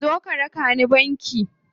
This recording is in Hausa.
Zo ka raka ni banki.